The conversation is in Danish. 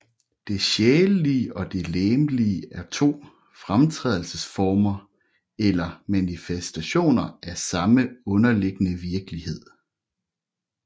Det sjælelige og det legemlige er to fremtrædelsesformer eller manifestationer af den samme underliggende virkelighed